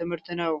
ትምህርት ነው።